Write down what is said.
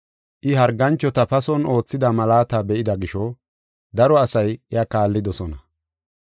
I harganchota pason oothida malaata be7ida gisho, daro asay iya kaallidosona.